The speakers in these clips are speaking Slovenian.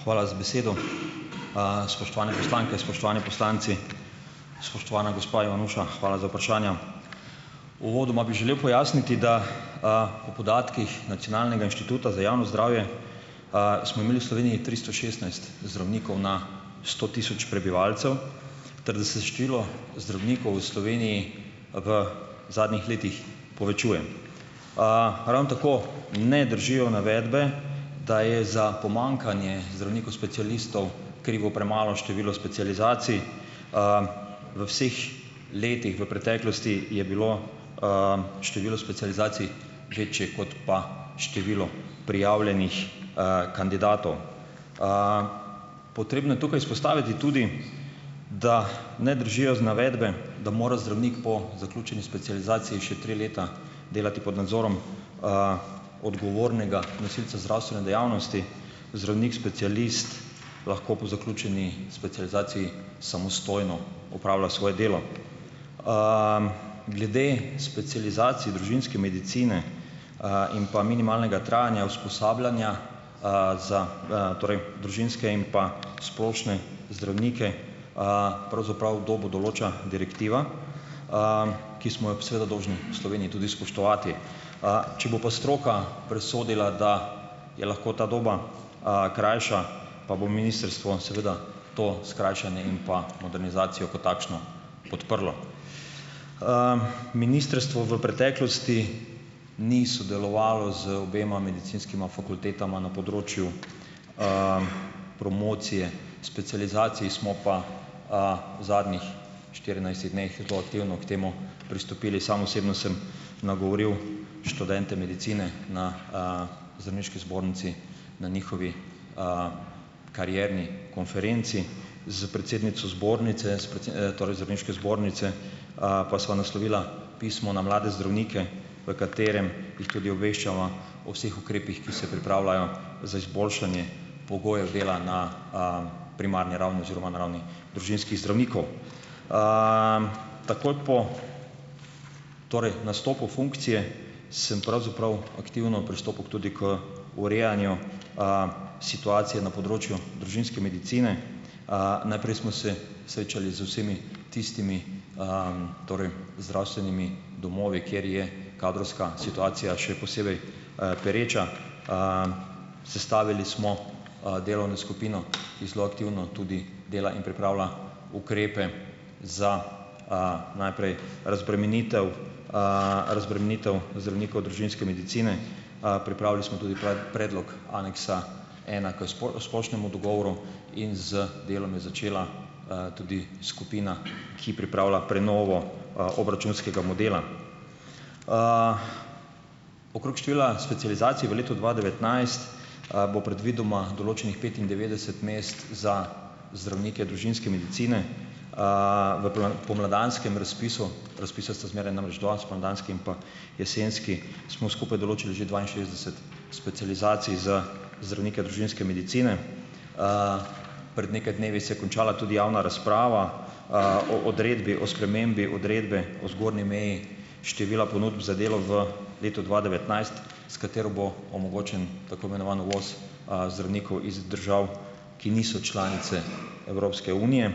Hvala za besedo. Spoštovane poslanke, spoštovani poslanci! Spoštovana gospa Ivanuša, hvala za vprašanja. Uvodoma bi želel pojasniti, da, po podatkih nacionalnega inštituta za javno zdravje, smo imeli v Sloveniji tristo šestnajst zdravnikov na sto tisoč prebivalcev ter da se število zdravnikov v Sloveniji v zadnjih letih povečuje. Ravno tako ne držijo navedbe, da je za pomanjkanje zdravnikov specialistov krivo premalo število specializacij. V vseh letih v preteklosti je bilo, število specializacij večje, kot pa število prijavljenih, kandidatov, Potrebno je tukaj izpostaviti tudi, da ne držijo navedbe, da mora zdravnik po zaključeni specializaciji še tri leta delati pod nadzorom, odgovornega nosilca zdravstvene dejavnosti. Zdravnik specialist lahko po zaključeni specializaciji samostojno opravlja svoje delo. Glede specializacij družinske medicine, in pa minimalnega trajanja usposabljanja, za, torej družinske in pa splošne zdravnike, pravzaprav dobo določa direktiva, ki smo jo seveda dolžni v Sloveniji tudi spoštovati. Če bo pa stroka presodila, da je lahko ta doba, krajša pa bo ministrstvo seveda to skrajšanje in modernizacijo kot takšno podprlo. Ministrstvo v preteklosti ni sodelovalo z obema medicinskima fakultetama na področju, promocije specializacij. Smo pa, v zadnjih štirinajstih dneh zelo aktivno k temu pristopili. Sam osebno sem nagovoril študente medicine na, Zdravniški zbornici na njihovi, karierni konferenci. S predsednico zbornice, torej Zdravniške zbornice, pa sva naslovila pismo na mlade zdravnike, v katerem jih tudi obveščava o vseh ukrepih, ki se pripravljajo za izboljšanje pogojev dela na, primarni ravni oziroma na ravni družinskih zdravnikov. Takoj po torej nastopu funkcije sem pravzaprav aktivno pristopil tudi k urejanju, situacije na področju družinske medicine. Najprej smo se srečali z vsemi tistimi, torej zdravstvenimi domovi, kjer je kadrovska situacija še posebej, pereča. Sestavili smo, delovno skupino, ki zelo aktivno tudi dela in pripravlja ukrepe za, najprej razbremenitev, razbremenitev zdravnikov družinske medicine. Pripravili smo tudi predlog aneksa ena k splošnemu dogovoru. In z delom je začela, tudi skupina, ki pripravlja prenovo, obračunskega modela. Okrog števila specializacij v letu dva devetnajst, bo predvidoma določenih petindevetdeset mest za zdravnike družinske medicine, v pomladanskem razpisu, razpisa sta zmeraj namreč dva, spomladanski in pa jesenski smo skupaj določili že dvainšestdeset specializacij za zdravnike družinske medicine. Pred nekaj dnevi se je končala tudi javna razprava, o odredbi o spremembi odredbe o zgornji meji števila ponudb za delo v letu dva devetnajst, s katero bo omogočen tako imenovan uvoz zdravnikov iz držav, ki niso članice Evropske unije.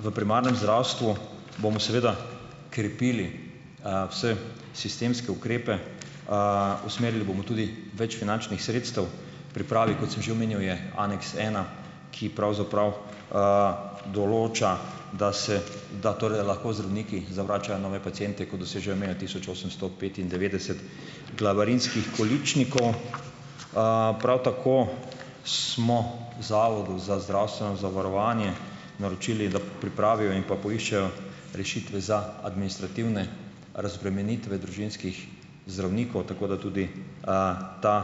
V primarnem zdravstvu bomo seveda krepili, vse sistemske ukrepe. Usmerili bomo tudi več finančnih sredstev. V pripravi, kot sem že omenil, je Aneks ena, ki pravzaprav, določa, da se da torej lahko zdravniki zavračajo nove paciente, ko dosežejo mejo tisoč osemsto petindevetdeset glavarinskih količnikov. Prav tako smo Zavodu za zdravstveno zavarovanje naročili, da pripravijo in pa poiščejo rešitve za administrativne razbremenitve družinskih zdravnikov, tako da tudi, ta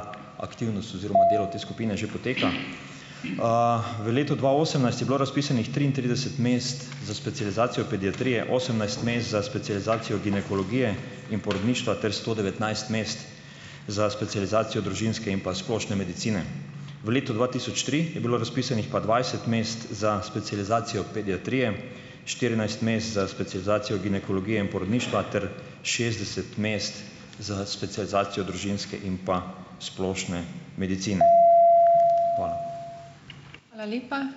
aktivnost oziroma delo te skupine že poteka. V letu dva osemnajst je bilo razpisanih triintrideset mest za specializacijo pediatrije, osemnajst mest za specializacijo ginekologije in porodništva ter sto devetnajst mest za specializacijo družinske in pa splošne medicine. V letu dva tisoč tri je bilo razpisanih pa dvajset mest za specializacijo pediatrije, štirinajst mest za specializacijo ginekologije in porodništva ter šestdeset mest za specializacijo družinske in pa splošne medicine. Hvala.